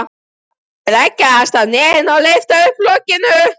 Þau leggjast á hnén og lyfta upp lokinu.